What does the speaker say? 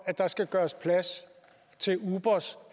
at der skal gøres plads til ubers